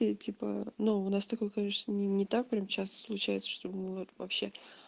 типа но у нас такой конечно не так прямо сейчас случается что было вообще